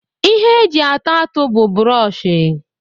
Ihe eji ata atụ bu buroshi